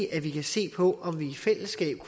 at vi kan se på om vi i fællesskab